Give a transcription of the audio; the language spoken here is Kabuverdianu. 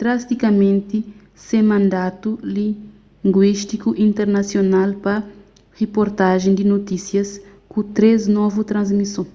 drastikamenti se mandatu linguístiku internasional pa riportajen di notísias ku três novu transmison